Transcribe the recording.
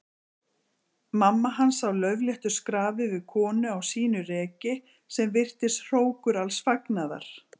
Mamma hans á laufléttu skrafi við konu á sínu reki sem virtist hrókur alls fagnaðar.